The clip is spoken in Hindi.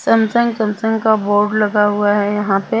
सैमसंग सैमसंग का बोर्ड लगा हुआ है यहां पे --